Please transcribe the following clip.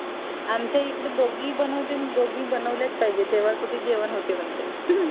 आमच्या इकडे दोगी बनवते दोगी बनवले च पाहिजे तेव्हा कुठे जेवण होते बनते